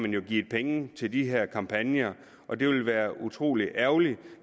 jo givet penge til de her kampagner og det ville være utrolig ærgerligt